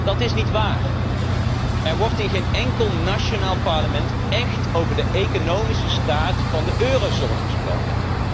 Dat is niet waar. Er wordt in geen enkel nationaal parlement echt over de economische staat van de eurozone gesproken.